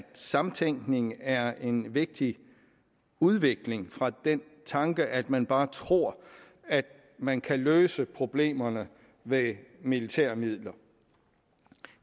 samtænkning er en vigtig udvikling fra den tanke at man bare tror at man kan løse problemerne ved militære midler